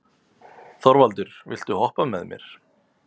Þorvaldur, viltu hoppa með mér?